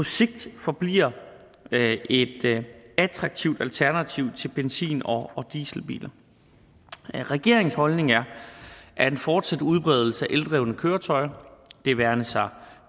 sigt forbliver et attraktivt alternativ til benzin og dieselbiler regeringens holdning er at en fortsat udbredelse af eldrevne køretøjer det være sig